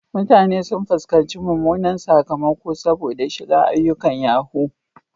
Mutane sun fuskanci mummunan sakamako saboda shiga ayyukan yahoo.